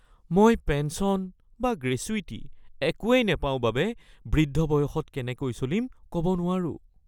মই পেঞ্চন বা গ্ৰেচুইটি একোৱেই নাপাও বাবে বৃদ্ধ বয়সত কেনেকৈ চলিম ক'ব নোৱাৰোঁ